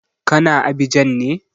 Ka na Abidjan ne?